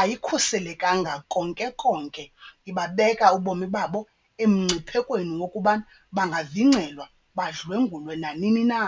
ayikhuselekanga konke konke, ibabeka ubomi babo emngciphekweni wokuba bangavingcelwa badlwengulwe nanini na.